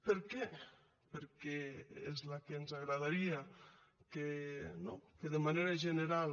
per què perquè és la que ens agradaria no que de manera general